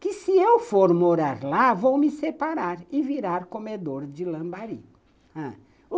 que se eu for morar lá, vou me separar e virar comedor de lambarim, ãh